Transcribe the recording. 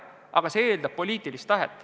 Eelkõige aga eeldab see poliitilist tahet.